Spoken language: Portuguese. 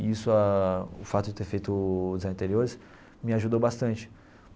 E isso ah, o fato de ter feito o Design de Interiores, me ajudou bastante.